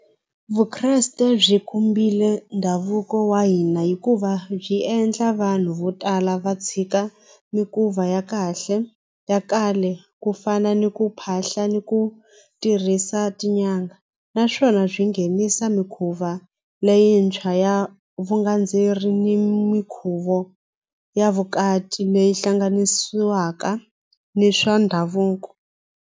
Vukreste byi khumbile ndhavuko wa hina hikuva byi endla vanhu vo tala va tshika mikuva ya kahle ya kale ku fana ni ku phahla ni ku tirhisa swa tin'anga naswona swi nghenisa mikhuva leyintshwa ya vugandzeri ni minkhuvo ya vukati leyi hlanganisiwaka ni swa ndhavuko.